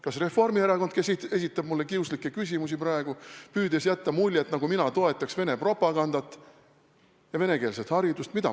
Kas Reformierakond, kes esitab mulle praegu kiuslikke küsimusi, püüdes jätta muljet, nagu mina toetaks Vene propagandat ja venekeelset haridust?